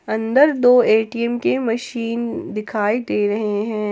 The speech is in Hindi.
अंदर दो ए_टी_एम के मशीन दिखाई दे रहे हैं।